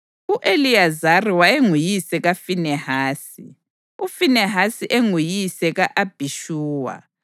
U-Eliyazari wayenguyise kaFinehasi, uFinehasi enguyise ka-Abhishuwa,